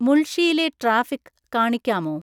മുൾഷിയിലെ traffic കാണിക്കാമോ